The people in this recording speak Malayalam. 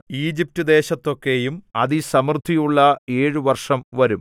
ഈജിപ്റ്റുദേശത്തൊക്കെയും അതിസമൃദ്ധിയുള്ള ഏഴു വർഷം വരും